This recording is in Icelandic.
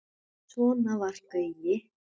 Svona var Gaui.